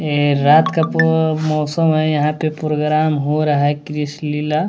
ये रात का मौसम है यहां पे प्रोग्राम हो रहा है कृष्ण लीला--